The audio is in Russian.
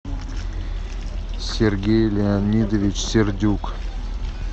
сергей леонидович сердюк